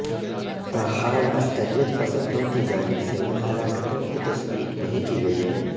تاحال عسکریت پسندوں کی جانب سے ان ہلاکتوں کی تصدیق نہیں کی گئی ہے